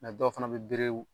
dɔw fana bɛ berew